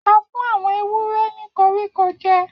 A fi koríko erin jẹ àwọn ewúrẹ́